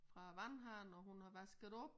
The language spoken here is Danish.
Fra æ vandhane og hun har vasket op